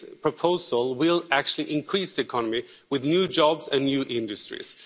This proposal will actually increase the economy with new jobs and new industries.